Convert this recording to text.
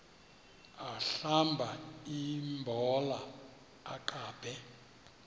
ahlamba imbola aqabe